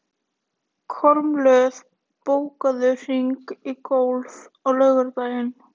Kormlöð, bókaðu hring í golf á laugardaginn.